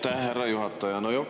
Aitäh, härra juhataja!